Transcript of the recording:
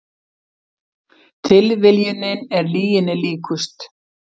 Tilviljunin er lyginni líkust